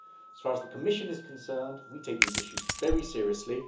As far as the Commission is concerned, we take these issues very seriously.